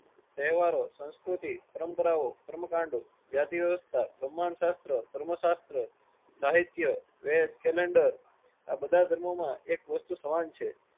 તહેવારો સંસ્કુતિ પરંપરાઓ કર્મકાંડો જાતિવ્યવસ્થા ભ્રહ્માંડસાસ્ત્ર કર્મશાસ્ત્ર સાહિત્ય વેદ કેલેન્ડર આ બધા ધર્મોમાં એક વસ્તુ સમાન છે.